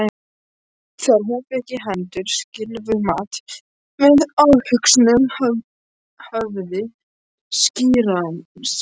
Þegar hún fékk í hendur silfurfat með afhöggnu höfði skírarans?